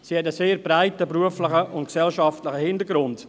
Sie hat einen sehr breiten beruflichen und gesellschaftlichen Hintergrund.